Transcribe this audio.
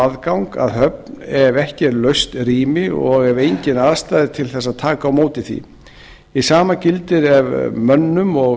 aðgang að höfn ef ekki er laust rými og ef engin aðstaða er til þess að taka á móti því hið sama gildir ef mönnum og